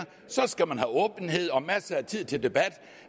skal man have åbenhed og masser af tid til debat